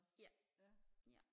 ja ja